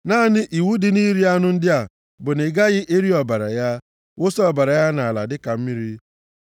Naanị iwu dị nʼiri anụ ndị a bụ na ị gaghị eri ọbara ya, wụsa ọbara ya nʼala, dịka mmiri.